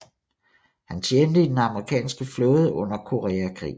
Han tjente i den amerikanske flåde under Koreakrigen